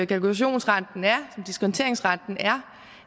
kalkulationsrenten er som diskonteringsrenten er